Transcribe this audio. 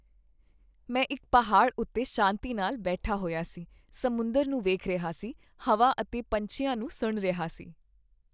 ਮੈਂ ਇੱਕ ਪਹਾੜ ਉੱਤੇ ਸ਼ਾਂਤੀ ਨਾਲ ਬੈਠਾ ਹੋਇਆ ਸੀ, ਸਮੁੰਦਰ ਨੂੰ ਵੇਖ ਰਿਹਾ ਸੀ ਹਵਾ ਅਤੇ ਪੰਛੀਆਂ ਨੂੰ ਸੁਣ ਰਿਹਾ ਸੀ।